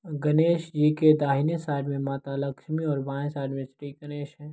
गणेश जी के दाहिने साइड मे माता लक्ष्मी और बाए साइड मे श्री गणेश है।